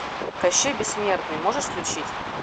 кощей бессмертный можешь включить